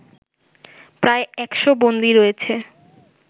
প্রায় ১০০ বন্দী রয়েছে